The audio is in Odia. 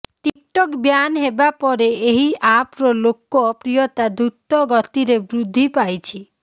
ଟିକଟକ୍ ବ୍ୟାନ ହେବାପରେ ଏହି ଆପର ଲୋକ ପ୍ରିୟତା ଦୃତଗତିରେ ବୃଦ୍ଧି ପାଇଛି